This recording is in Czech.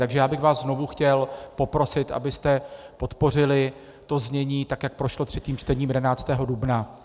Takže já bych vás znovu chtěl poprosit, abyste podpořili to znění tak, jak prošlo třetím čtením 11. dubna.